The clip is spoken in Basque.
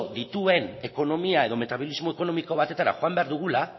dituen ekonomia edo metabolismo ekonomiko batetara joan behar dugula